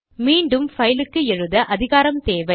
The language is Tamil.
மீண்டும் பைல் க்கு எழுத அதிகாரம் தேவை